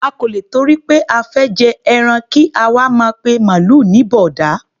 A kò lè tìtorí pé a fẹ́ jẹran kí a wá máa pe màlúù ní bọ̀ọ̀dá.